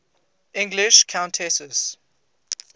english countesses